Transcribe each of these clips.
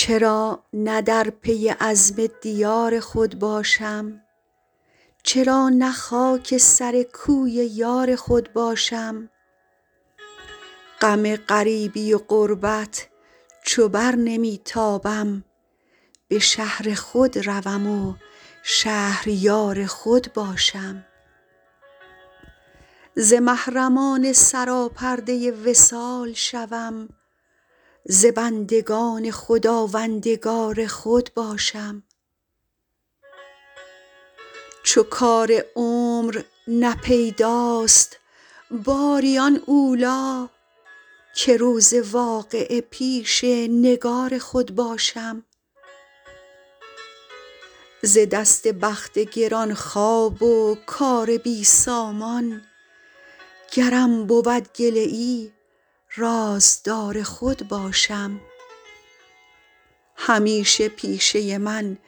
چرا نه در پی عزم دیار خود باشم چرا نه خاک سر کوی یار خود باشم غم غریبی و غربت چو بر نمی تابم به شهر خود روم و شهریار خود باشم ز محرمان سراپرده وصال شوم ز بندگان خداوندگار خود باشم چو کار عمر نه پیداست باری آن اولی که روز واقعه پیش نگار خود باشم ز دست بخت گران خواب و کار بی سامان گرم بود گله ای رازدار خود باشم همیشه پیشه من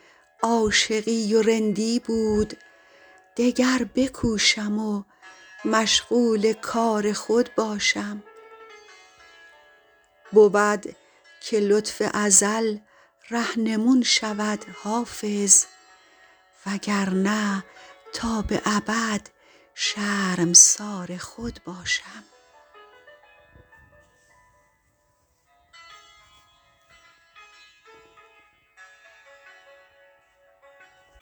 عاشقی و رندی بود دگر بکوشم و مشغول کار خود باشم بود که لطف ازل رهنمون شود حافظ وگرنه تا به ابد شرمسار خود باشم